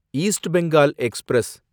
east Bengal express